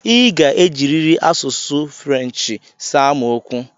I ga-ejirịrị asụsụ French saa m okwu!